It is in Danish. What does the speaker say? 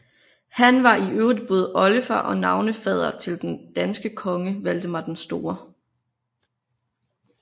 Han var i øvrigt både oldefar og navnefader til den danske konge Valdemar den Store